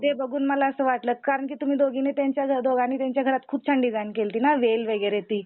ते बघून मला असं वाटलं कारण की तुम्ही दोघांनी त्यांच्या घरात खूप छान डिझाइन केलती ना वेल न ती.